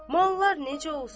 Mallar necə olsun?